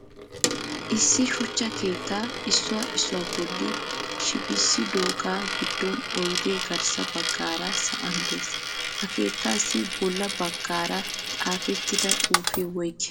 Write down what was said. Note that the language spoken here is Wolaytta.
Issi shuchcha keettaa issuwaa issuwaa bolli shibisidoga giddon oyde garssa baggaara sa'an de'ees. Ha keettasi bolla baggaara xaafettida xuufe woygi?